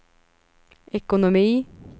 ekonomi